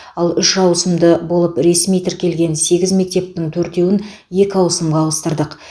ал үш ауысымды болып ресми тіркелген сегіз мектептің төртеуін екі ауысымға ауыстырдық